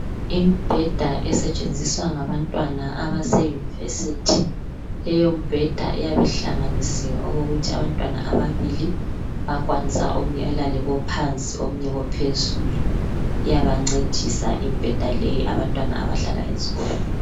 Imbheda esetshenziswa ngabantwana abase university leyombheda iyabihlanganisiwe okokuthi abantwana ababili bayakwanisa omunye elale kophansi omunye elale kophezulu. Iyabancedisa imbheda leyi abantwana abahlala ezikolo.